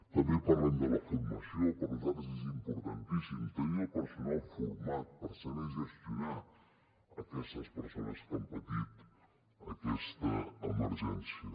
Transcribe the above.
també parlem de la formació per nosaltres és importantíssim tenir el personal format per saber gestionar aquestes persones que han patit aquesta emergència